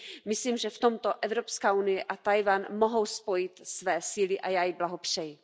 Myslím, že v tomto Evropská unie a Tchaj wan mohou spojit své síly a já jí blahopřeji.